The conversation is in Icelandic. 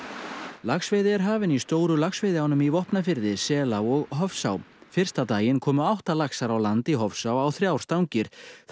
laxveiði er hafin í stóru laxveiðiánum í Vopnafirði Selá og Hofsá fyrsta daginn komu átta laxar á land í Hofsá á þrjár stangir